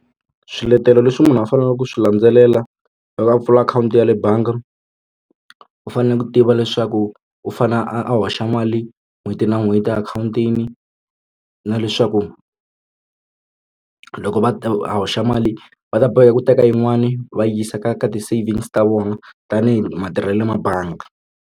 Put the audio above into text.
Swiletelo leswi munhu a faneleke ku swi landzelela loko a pfula akhawunti ya le bangi u fanele ku tiva leswaku u fane a hoxa mali n'hweti na n'hweti akhawuntini na leswaku loko va a hoxa mali va ta boheka ku teka yin'wani va yisa ka ka ti-savings ta vona tanihi matirhelo ma bangi.